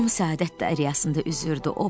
Tom səadət dəryasında üzürdü.